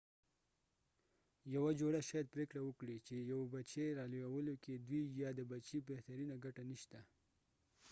یوه جوړه شاید پرېکړه وکړي چې یو بچی رالویولو کې د دوی یا د بچي بهترینه ګټه نشته